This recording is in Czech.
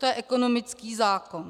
To je ekonomický zákon.